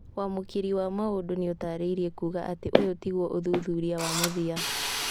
Wamũkĩri wa maũndũ nĩũtarĩirie kuga atĩ ũyũ tiguo ũthuthuria wa mũthia